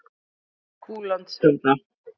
Búlandshöfða